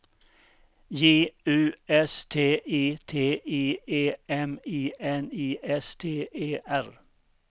J U S T I T I E M I N I S T E R